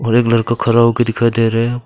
एक लड़का खड़ा होके दिखाई दे रहा है।